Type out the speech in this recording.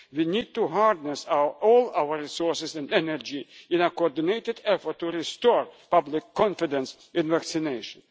to save lives. We need to harness our all our resources and energy in a coordinated effort to restore public confidence